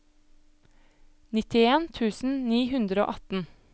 nittien tusen ni hundre og atten